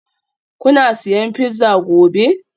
Kuna siyan pizza gobe?